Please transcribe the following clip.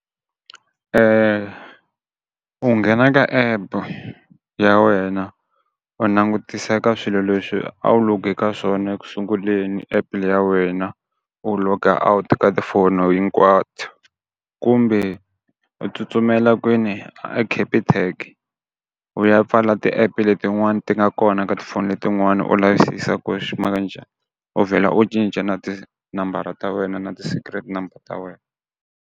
u nghena ka app ya wena u langutisa ka swilo leswi a wu log-e ka swona ekusunguleni app le ya wena, u log-a out ka tifono hinkwato kumbe u tsutsumela kwini a Capitec u ya pfala ti-app letin'wani ti nga kona ka tifoni leti n'wana u lavisisa ku xi maka njhani, u vhela u cinca na tinambara ta wena na ti secret number ta wena.